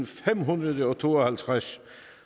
femhundrede og tooghalvtreds